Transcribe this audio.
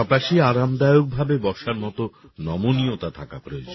পাশাপাশি আরামদায়কভাবে বসার মত নমনীয়তা থাকা প্রয়োজন